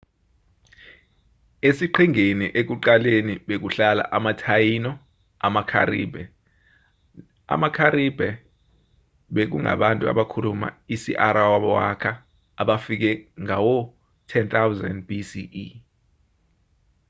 esiqhingini ekuqaleni bekuhlala ama-taíno namacaribe. amacaribe bekungabantu abakhuluma isi-arawaka abafike ngawo-10,000 bce